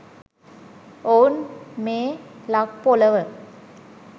ඔවුන් මේ ලක් පොළොව